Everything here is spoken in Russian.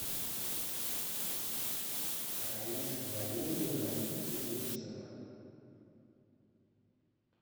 раиса валерьевна левенцева